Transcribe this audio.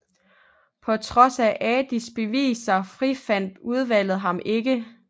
På trods af Adis beviser frifandt udvalget ham ikke